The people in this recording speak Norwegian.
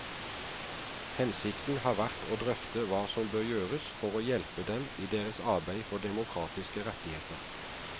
Hensikten har vært å drøfte hva som bør gjøres for å hjelpe dem i deres arbeid for demokratiske rettigheter.